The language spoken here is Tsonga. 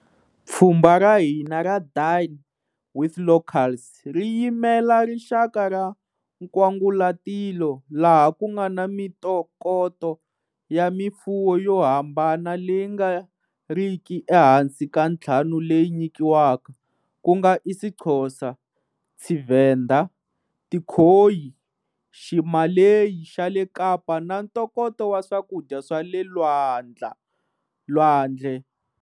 Pfhumba ra hina ra Dine with Locals ri yimela rixaka ra nkwangulatilo, laha ku na mitokoto ya mifuwo yo hambana leyi nga riki ehansi ka ntlhanu leyi nyikiwaka, ku nga isiXhosa, Tshivenḓa, Tikhoyi, Ximaleyi xa le Kapa na ntokoto wa swakudya swa le lwandle.